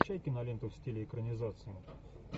включай киноленту в стиле экранизации